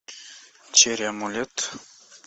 черри амулет